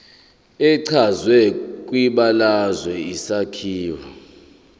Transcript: echazwe kwibalazwe isakhiwo